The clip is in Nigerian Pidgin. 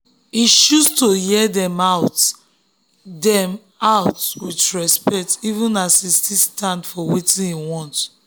e choose to hear um dem out um dem out with respect um even as e still stand for wetin e want.